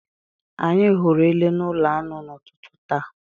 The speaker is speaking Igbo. Anyị hụrụ Ele n'ụlọ anụ n'ụtụtụ taa